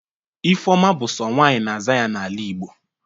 Ifeọma bụ sọ nwaanyị na-aza ya n'ala Igbo.